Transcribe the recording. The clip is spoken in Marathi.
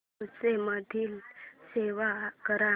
फोटोझ मध्ये सेव्ह कर